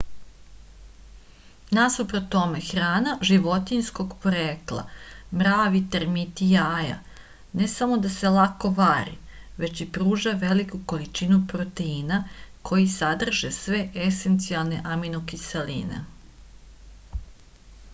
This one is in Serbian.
насупрот томе храна животињског порекла мрави термити јаја не само да се лако вари већ и пружа велику количину протеина који садрже све есенцијалне аминокиселине